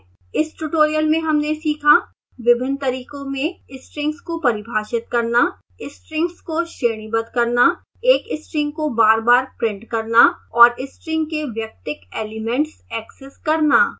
इस tutorial में हमने सीखा